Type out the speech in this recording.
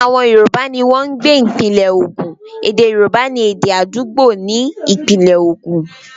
Àwọn Yorùbá ní wọ́n ń gbé ìpínlẹ Ogun, ède Yorùbá ni èdè àdúgbò ní ìpínlẹ̀ ogun.